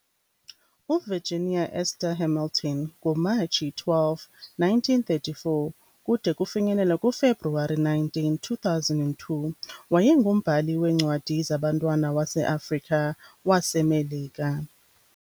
UVirginia Esther Hamilton ngoMatshi 12, 1934 kude kufinyelelwe kuFebruwari 19, 2002 wayengumbhali weencwadi zabantwana wase-Afrika-waseMelika .